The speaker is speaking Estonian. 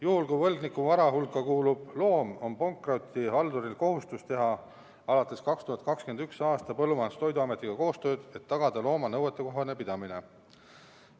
Juhul kui võlgniku vara hulka kuulub loom, on pankrotihalduril alates 2021. aastast kohustus teha Põllumajandus- ja Toiduametiga koostööd, et tagada looma nõuetekohane pidamine.